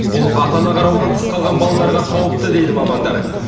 бұл ата ана қарауынан тыс қалған балаларға қауіпті дейді мамандар